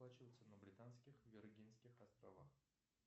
оплачивается на британских вергинских островах